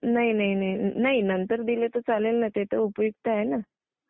नाही नाही नाही.. नाही, नंतर दिले तर चालतील ना! ते तर उपयुक्त आहे ना.